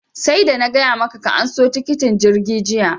sarda na gaya maka ka anso tikitin jirgi jiya!